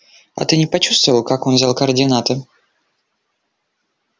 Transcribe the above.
а ты не почувствовал как он взял координаты